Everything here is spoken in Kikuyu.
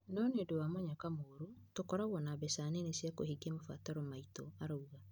No nĩ ũndũ wa mũnyaka mũru, tũkoragwo na mbeca nini cia kũhingia mabataro maitũ," araũga.